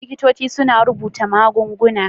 Likitoci suna rubuta magunguna.